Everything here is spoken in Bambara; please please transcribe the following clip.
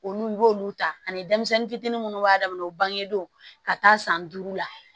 Olu y'olu ta ani denmisɛnnin fitiinin minnu b'a damana u bangedon ka taa san duuru la